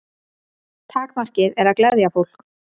Takmarkið er að gleðja fólk.